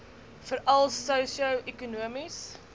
veral sosio ekonomies